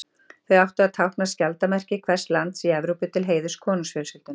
Þau áttu að tákna skjaldarmerki hvers lands í Evrópu til heiðurs konungsfjölskyldunum.